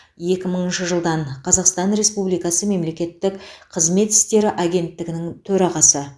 екі мыңыншы жылдан қазақстан республикасы мемлекеттік қызмет істері агенттігінің төрағасы